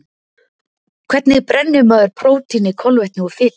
Hvernig brennir maður prótíni, kolvetni og fitu?